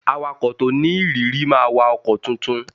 Awakọ̀ to ni ìrírí máa wakọ̀ ọkọ̀ tuntun